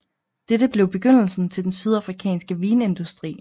Dette blev begyndelsen til den sydafrikanske vinindustri